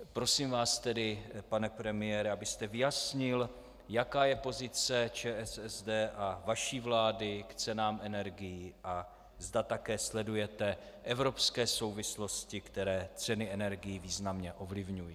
Prosím vás tedy, pane premiére, abyste vyjasnil, jaká je pozice ČSSD a vaší vlády k cenám energií a zda také sledujete evropské souvislosti, které ceny energií významně ovlivňují.